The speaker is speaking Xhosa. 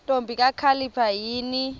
ntombi kakhalipha yini